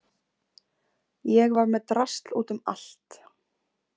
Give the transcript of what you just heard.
Ég var með drasl út um allt.